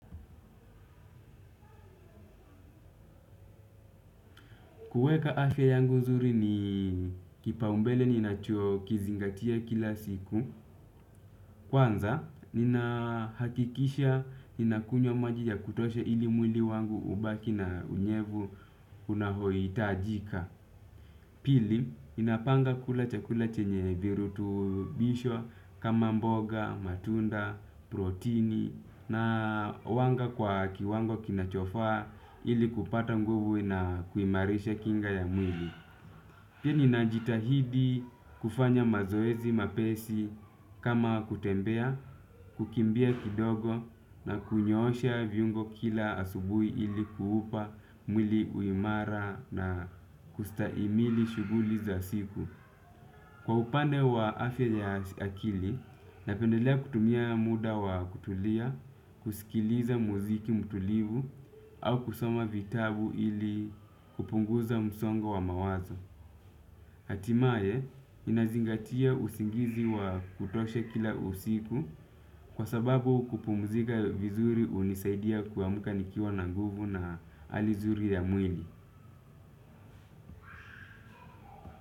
Kuweka afya yangu nzuri ni kipaumbele ninacho kizingatia kila siku. Kwanza, ninahakikisha, ninakunywa maji ya kutosha ili mwili wangu ubaki na unyevu unaohitajika. Pili, ninapanga kula chakula chenye virutubisho kama mboga, matunda, protini na wanga kwa kiwango kinachofa ili kupata nguvu na kuimarisha kinga ya mwili. Pia ninajitahidi kufanya mazoezi mepesi kama kutembea, kukimbia kidogo na kunyoosha viungo kila asubuhi ili kuupa mwili uimara na kustahimili shuguli za siku. Kwa upande wa afya ya akili, napendelea kutumia muda wa kutulia, kusikiliza muziki mtulivu au kusoma vitabu ili kupunguza msongo wa mawazo. Hatimaye ninazingatia usingizi wa kutosha kila usiku kwa sababu kupumzika vizuri hunisaidia kuamka nikiwa na nguvu na hali zuri ya mwili.